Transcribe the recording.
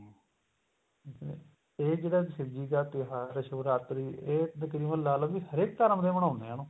ਠੀਕ ਏ ਤੇ ਇਹ ਜਿਹੜਾ ਸ਼ਿਵ ਜੀ ਦਾ ਤਿਉਹਾਰ ਏ ਸ਼ਿਵਰਾਤਰੀ ਇਹ ਤਕਰੀਬਨ ਲਾ ਲੋ ਵੀ ਹਰੇਕ ਧਰਮ ਦੇ ਮਨਾਉਣੇ ਏ ਉਹ